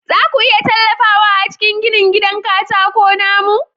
Za ku iya tallafawa a cikin ginin gidan katako na mu?